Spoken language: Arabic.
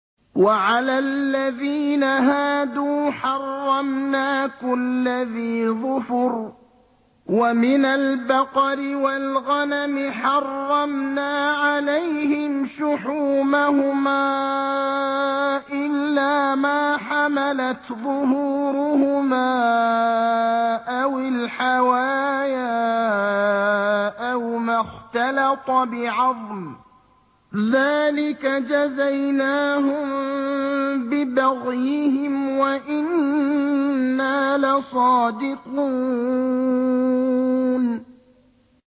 وَعَلَى الَّذِينَ هَادُوا حَرَّمْنَا كُلَّ ذِي ظُفُرٍ ۖ وَمِنَ الْبَقَرِ وَالْغَنَمِ حَرَّمْنَا عَلَيْهِمْ شُحُومَهُمَا إِلَّا مَا حَمَلَتْ ظُهُورُهُمَا أَوِ الْحَوَايَا أَوْ مَا اخْتَلَطَ بِعَظْمٍ ۚ ذَٰلِكَ جَزَيْنَاهُم بِبَغْيِهِمْ ۖ وَإِنَّا لَصَادِقُونَ